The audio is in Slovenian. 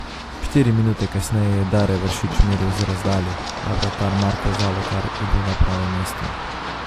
Štiri minute kasneje je Dare Vršič meril z razdalje, a vratar Marko Zalokar je bil na pravem mestu.